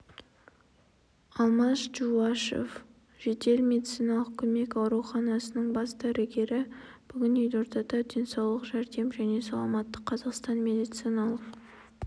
алмаз джувашев жедел медициналық көмек ауруханасының бас дәрігері бүгін елордада денсаулық жәрдем және саламатты қазақстан медициналық